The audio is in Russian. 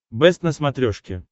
бэст на смотрешке